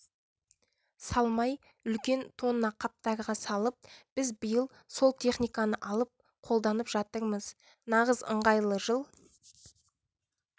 салмай үлкен тонна қаптарға салып біз биыл сол техниканы алып қолданып жатырмыз нағыз ыңғайлы жыл